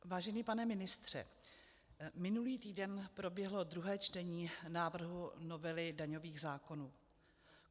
Vážený pane ministře, minulý týden proběhlo druhé čtení návrhu novely daňových zákonů.